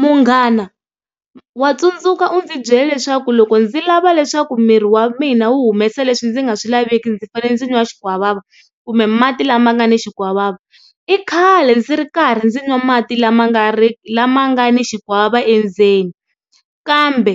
Munghana wa tsundzuka u ndzi byela leswaku loko ndzi lava leswaku miri wa mina wu humesa leswi ndzi nga swi laveki ndzi fanele ndzi nwa xikwavava kumbe mati lama nga ni xikwavava, i khale ndzi ri karhi ndzi nwa mati lama nga ri lama nga ni xikwavava endzeni kambe